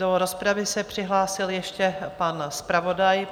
Do rozpravy se přihlásil ještě pan zpravodaj.